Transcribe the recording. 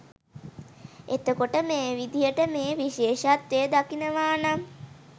එතකොට මේ විදිහට මේ විශේෂත්වය දකිනවා නම්